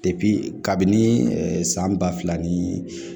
kabini ɛɛ san ba fila ni